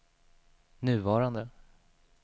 nuvarande